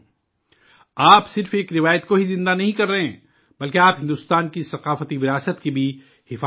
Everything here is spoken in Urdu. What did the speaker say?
آپ صرف ایک روایت کو ہی زندہ نہیں کر رہے ہیں، بلکہ آپ ہندوستان کی ثقافتی وراثت کی بھی حفاظت کر رہے ہیں